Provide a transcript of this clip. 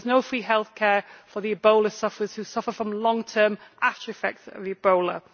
There is no free healthcare for the Ebola sufferers who suffer from long-term after-effects of Ebola.